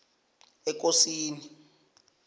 ekosini